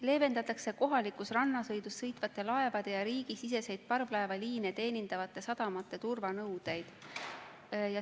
Leevendatakse kohalikus rannasõidus sõitvate laevade ja riigisiseseid parvlaevaliine teenindavate sadamate turvanõudeid.